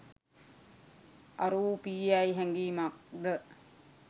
අරූපීයැයි හැඟීමක්ද,